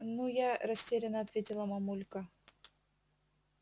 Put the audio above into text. ну я растеряно ответила мамулька